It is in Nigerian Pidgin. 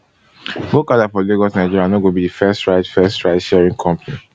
gokada for lagos nigeria no go be di fist ride fist ride sharing company